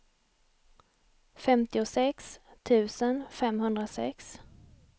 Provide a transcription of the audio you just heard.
femtiosex tusen femhundrasex